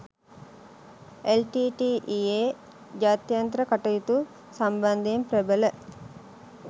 LTTE. යේ ජාත්‍යන්තර කටයුතු සම්බන්ධයෙන් ප්‍රබල